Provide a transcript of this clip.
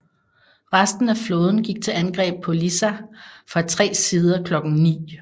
Resten af flåden gik til angreb på Lissa fra tre sider klokken ni